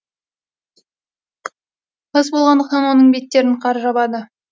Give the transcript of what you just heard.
қыс болғандықтан оның беттерін қар жабады